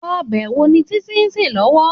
Òbè wó ni Titi n sé lòwò?